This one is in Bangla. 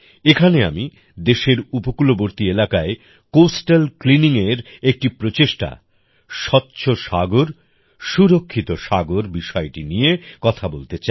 এখানে আমি দেশের উপকূলবর্তী এলাকায় কোস্টাল ক্লিনিং এর একটি প্রচেষ্টা স্বচ্ছ সাগর সুরক্ষিত সাগর বিষয়টি নিয়ে কথা বলতে চাই